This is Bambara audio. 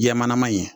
Jɛman in ye